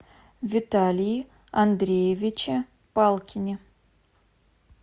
виталии андреевиче палкине